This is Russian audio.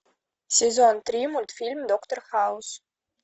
сезон три мультфильм доктор хаус